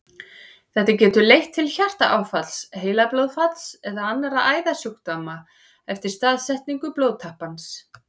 Þetta getur leitt til hjartaáfalls, heilablóðfalls eða annarra æðasjúkdóma eftir staðsetningu blóðtappans.